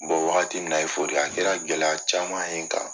wagati min na a ye a kɛra gɛlɛya caman ye n kan.